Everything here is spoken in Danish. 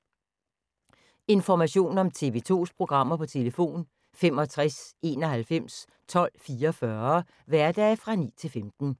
Information om TV 2's programmer: 65 91 12 44, hverdage 9-15.